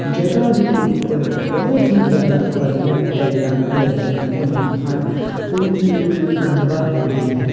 ਜਗਾ ਦੇ ਉੱਪਰ ਬਹੁਤ ਹੀ ਜਿਆਦਾ ਵਧੀਆ ਟਾਈਲਾਂ ਲੱਗੀਆਂ ਹੋਈਆਂ ਹਨ ਔਰ ਇਕ ਖੰਬਾ ਵੀ ਹੈ।